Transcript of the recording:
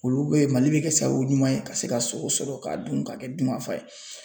Olu bɛ yen Mali bɛ kɛ sabu ɲuman ye ka se ka sogo sɔrɔ k'a dun ka kɛ dunkafa ye .